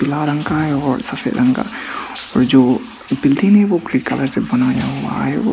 लाल रंग का है और सफेद रंग का और जो बिल्डिंग है वो ग्रे कलर से बनाया हुआ है वो--